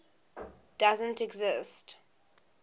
doesn t exist